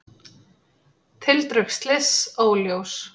Tildrög slyss óljós